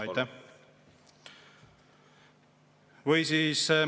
Aitäh!